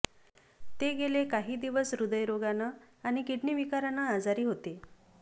ते गेले काही दिवस हृदयरोगानं आणि किडनी विकारानं आजारी होते